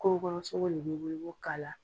Kungo kɔnɔ sogo le b'i bolo , i b'o k'ala,